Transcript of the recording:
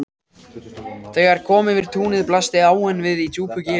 Þegar kom yfir túnið blasti áin við í djúpu gili.